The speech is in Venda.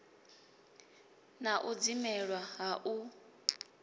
na u dzimelwa ha u